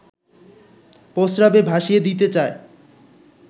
প্রস্রাবে ভাসিয়ে দিতে চায়